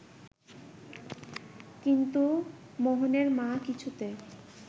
কিন্তু মোহনের মা কিছুতে